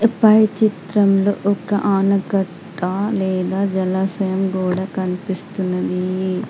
పై చిత్రంలో ఒక ఆనకట్ట లేదా జలాశయం గోడ కన్పిస్తున్నది.